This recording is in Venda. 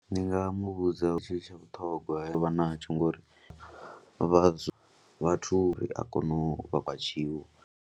Ndi nga mu vhudza tshithu tsha vhuṱhongwa vha natsho ngori vha vhathu ri a kona u vha kha tshiwo.